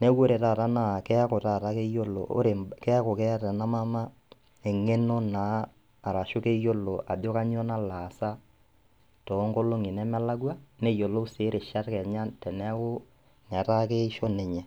Neaku ore taata naa keaku tata keyiolo ore, keaku keata ena mama eng'eno naa arashu keyiolo ajo kanyoo naloaasa toonkolong'i nemelakua neyiolou sii rishat kenya teneaku netaa keisho ninye.